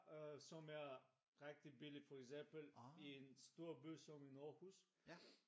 Øh som er rigtig billig som for eksempel en stor by som i Aarhus